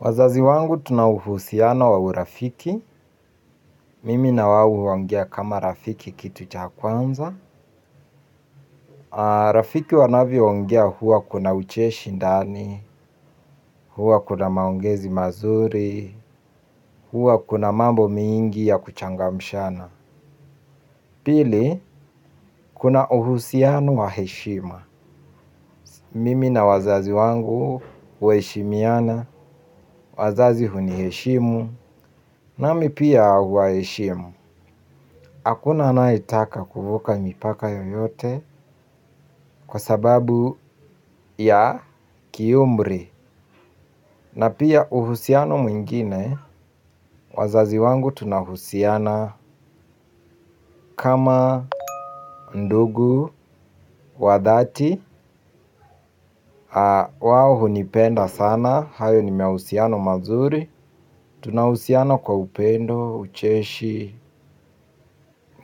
Wazazi wangu tuna uhusiano wa urafiki. Mimi na wao huongea kama rafiki kitu cha kwanza. Rafiki wanavyoongea huwa kuna ucheshi ndani, huwa kuna maongezi mazuri, huwa kuna mambo mingi ya kuchangamshana. Pili, kuna uhusiano wa heshima. Mimi na wazazi wangu waheshimiana, wazazi huniheshimu, nami pia huwaheshimu. Hakuna anayetaka kuvuka mipaka yoyote kwa sababu ya kiumri na pia uhusiano mwingine wazazi wangu tunahusiana kama ndugu, wa dhati, wao hunipenda sana, hayo ni mahusiano mazuri, tuna uhusiano kwa upendo, ucheshi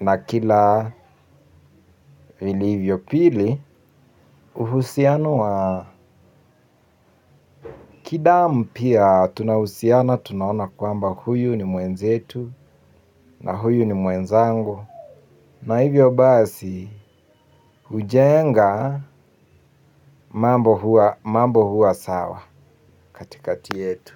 na kila vilivyo. Pili. Uhusiano wa kidamu pia tunahusiana. Tunaona kwamba huyu ni mwenzetu na huyu ni mwenzangu na hivyo basi hujenga mambo huwa sawa katikati yetu.